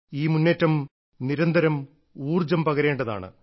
ഈ മുന്നേറ്റം നിരന്തരം ഊർജ്ജം പകരേണ്ടതാണ്